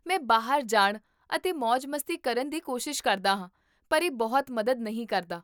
ਮੈਂ ਬਾਹਰ ਜਾਣ ਅਤੇ ਮੌਜ ਮਸਤੀ ਕਰਨ ਦੀ ਕੋਸ਼ਿਸ਼ ਕਰਦਾ ਹਾਂ, ਪਰ ਇਹ ਬਹੁਤ ਮਦਦ ਨਹੀਂ ਕਰਦਾ